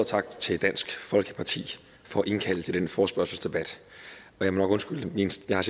tak til dansk folkeparti for at indkalde til denne forespørgselsdebat jeg må nok undskylde min stemme